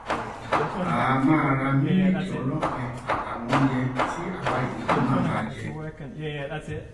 a um máa ra mílíìkì ọlọpẹ um àtàwọn oúnjẹ tí àwa yòókù náà máa jẹ